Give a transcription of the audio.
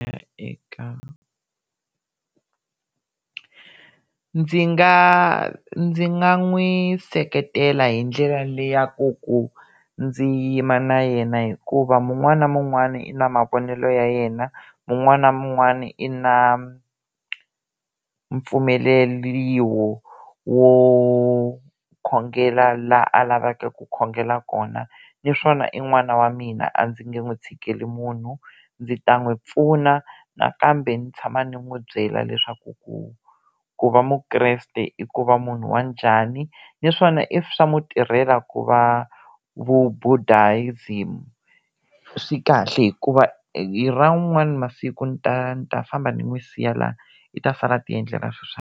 eka ndzi nga ndzi nga n'wi seketela hi ndlela leyi ya ku ku ndzi yima na yena hikuva mun'wani na mun'wani i na mavonelo ya yena, mun'wani na mun'wani i na mpfumeliwo wo wo khongela laha a lavaka ku khongela kona naswona i n'wana wa mina a ndzi nga n'wi tshikeli munhu ndzi ta n'wi pfuna nakambe ndzi tshama ni n'wi byela leswaku ku ku va mukreste i ku va munhu wanjhani naswona if swa n'wu tirhela ku va vu-Buddhism swi kahle hikuva i ra n'wani masiku ni ta ni ta famba ni n'wi siya laha i ta sala a ti endlela .